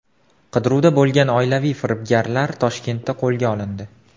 Qidiruvda bo‘lgan oilaviy firibgarlar Toshkentda qo‘lga olindi.